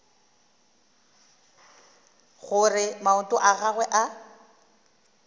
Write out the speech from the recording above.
gore maoto a gagwe a